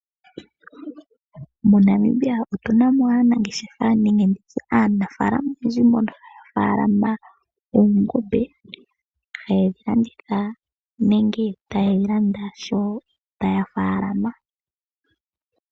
MoNamibia otu na mo aanafaalama oyendji mbono haya faalama oongombe haye dhi landitha nenge taye dhi landa sho taya faalama.